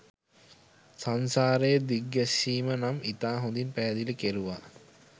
සංසාරයේ දිග්ගෑස්සීම නම් ඉතා හොදින් පෑහෑදිලි කෙරුවා